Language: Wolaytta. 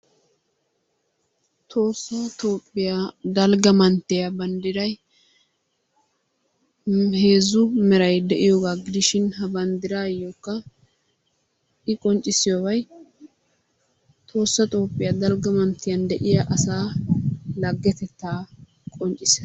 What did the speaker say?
Tohossa Toophiyaa dalgga manttiya banddiray nu heezzu meray de'iyoogaa gidishin ha bandiraayookka i qonccisiyobay tohossa Toophiyaa dalgga manttiyan de'iya asaa lagetettaa qonccissees.